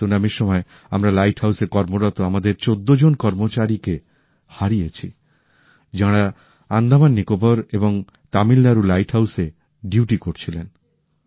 সুনামির সময় আমরা লাইট হাউসে কর্মরত আমাদের ১৪ জন কর্মচারীকে হারিয়েছি যাঁরা আন্দামান নিকোবার আর তামিলনাডুর লাইট হাউসে ডিউটি করছিলেন